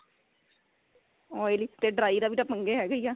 oily ਤੇ dry ਦਾ ਵੀ ਤਾਂ ਪੰਗਾ ਹੈਗਾ ਈ ਹੈ